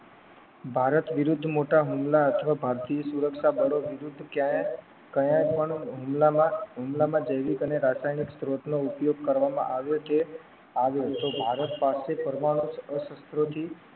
ભારત વિરુદ્ધ મોટા હુમલા અથવા ભારતીય સુરક્ષા બળો વિરુદ્ધ ક્યાં ક્યાં પણ હુમલામાં હુમલામાં જૈવિક અને રાસાયણિક સ્ત્રોત નો ઉપયોગ કરવામાં આવ્યો છે આવ્યો તો ભારત પાસે પરમાણુ અસ્ત્રોથી